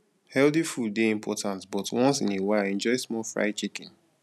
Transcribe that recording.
healthy food dey important but once in a while enjoy small fried chicken